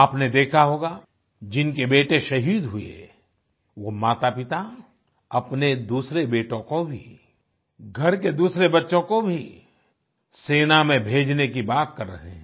आपने देखा होगा जिनके बेटे शहीद हुए वो मातापिता अपने दूसरे बेटों को भी घर के दूसरे बच्चों को भी सेना में भेजने की बात कर रहे हैं